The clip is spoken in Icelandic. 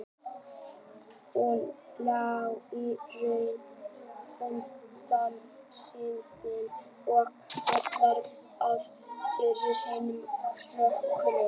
Hún lét í raun undan þrýstingi, var aðallega að sýnast fyrir hinum krökkunum.